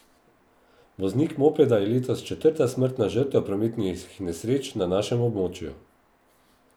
Voznik mopeda je letos četrta smrtna žrtev prometnih nesreč na našem območju.